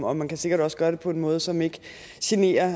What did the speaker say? og man kan sikkert også gøre det på en måde som ikke generer